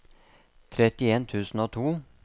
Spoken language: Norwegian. trettien tusen og to